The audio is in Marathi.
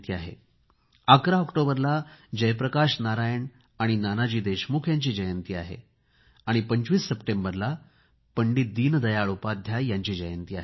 11 ऑक्टोबरला जयप्रकाश नारायण आणि नानाजी देशमुख यांची जयंती आहे आणि 25 सप्टेंबरला पंडित दीनदयाळ उपाध्याय यांची जयंती आहे